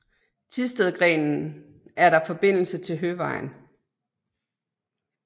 Thistedgrenen er der forbindelse til Høvejen